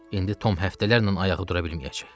İndi Tom həftələrlə ayağı dura bilməyəcək.